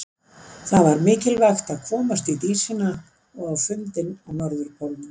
Það var mikilvægt að komast í Dísina og á fundinn á Norðurpólnum.